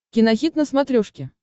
кинохит на смотрешке